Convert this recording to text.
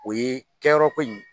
O ye kɛyɔrɔko in